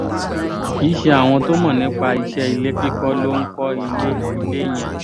kì í ṣe àwọn tó mọ̀ nípa iṣẹ́ ilé kíkọ́ ló ń kọ́ ilé ilé yẹn